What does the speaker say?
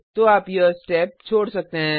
तो आप यह स्टेप छोड़ सकते हैं